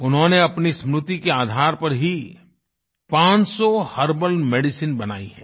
उन्होंने अपनी स्मृति के आधार पर ही पांच सौ हर्बल मेडिसिन बनाई हैं